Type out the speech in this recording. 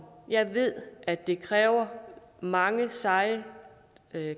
jeg ved at det kræver mange seje